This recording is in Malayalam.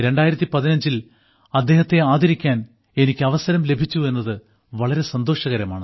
2015 ൽ അദ്ദേഹത്തെ ആദരിക്കാൻ എനിക്ക് അവസരം ലഭിച്ചു എന്നത് വളരെ സന്തോഷകരമാണ്